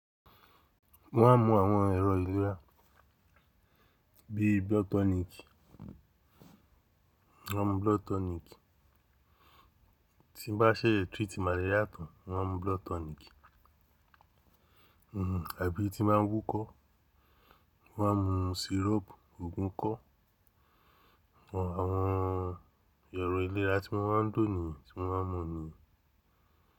Wọ́n á mọ àwọn ẹ̀rọ ìlera bíi blood tonic, wọ́n mọ blood tonic tí ń bá ṣẹlẹ̀ treat malaria tán, wọ́n mọ blood tonic, àbí tí máa ń wúkọ́, wọ́n á mọ syrup ògún ikọ́. Àwọn ẹ̀rọ ìlera tí wọ́n máa ń lo ni yen tí wọ́n mọ ni.